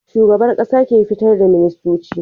Shugaban ƙasa ke fitar da ministoci